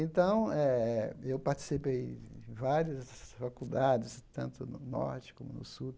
Então eh, eu participei de várias faculdades, tanto no Norte como no Sul.